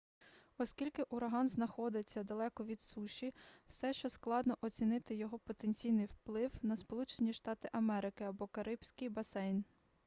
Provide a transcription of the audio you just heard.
оскільки ураган знаходиться далеко від суші все ще складно оцінити його потенційний вплив на сполучені штати америки або карибський басейн